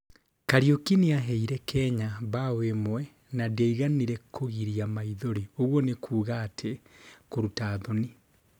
Kariuki nĩaheire Kenya mbao ĩmwe no ndĩaiganire kũgĩria maĩthori- yaani kũrũta thoni!